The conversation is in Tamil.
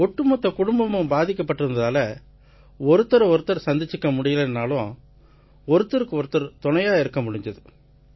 ஒட்டுமொத்த குடும்பமும் பாதிக்கப்பட்டிருந்ததால ஒருத்தரை ஒருத்தர் சந்திச்சுக்க முடியலைன்னாலும் ஒருத்தருக்கு ஒருத்தர் துணையா இருக்க முடிஞ்சுது